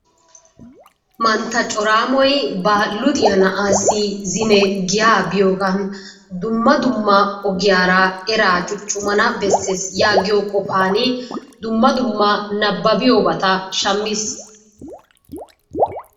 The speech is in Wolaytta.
Mantta coraammoy ba luxxiya na'aassi zine giyaa biyoogan dumma dumma ogiyaara eraa cuucumana besses yaagiyo qofaani dumma dumma nababbiyobata shamiis.